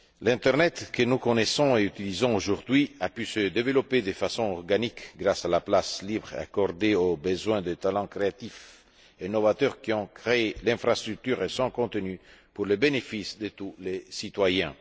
L'internet que nous connaissons et utilisons aujourd'hui a pu se développer de façon organique grâce à la place libre accordée aux besoins des talents créatifs et novateurs, qui ont créé l'infrastructure et son contenu, pour le bénéfice de tous les citoyens.